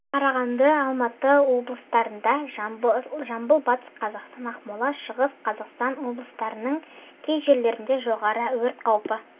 қарағанды алматы облыстарында жамбыл батыс қазақстан ақмола шығыс қазақстан облыстарының кей жерлерінде жоғары өрт қаупі